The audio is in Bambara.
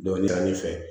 Dɔnniya min fɛ